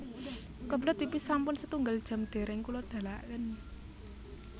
Kebelet pipis sampun setunggal jam dereng kula dalaken